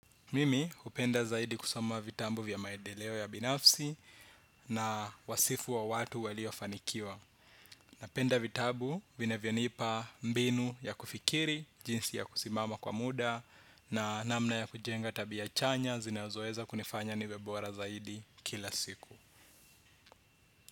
Mimi hupenda zaidi kusoma vitabu vya maendeleo ya binafsi na wasifu wa watu waliofanikiwa. Napenda vitabu vinavyonipa mbinu ya kufikiri, jinsi ya kusimama kwa muda na namna ya kujenga tabia chanya zinazoweza kunifanya niwe bora zaidi kila siku.